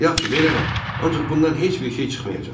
Yaxşı, verərəm, ancaq bundan heç bir şey çıxmayacaq.